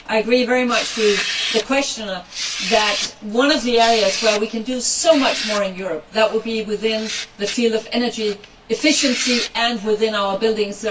I agree very much with the questioner that one of the areas where we can do so much more in Europe would be within the field of energy efficiency and buildings.